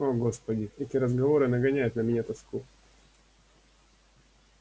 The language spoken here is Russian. о господи эти разговоры нагоняют на меня тоску